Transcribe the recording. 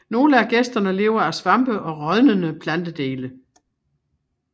Nogle af gæsterne lever af svampe og rådnende plantedele